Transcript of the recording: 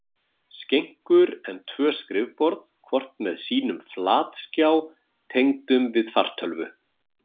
skenkur en tvö skrifborð, hvort með sínum flatskjá tengdum við fartölvu.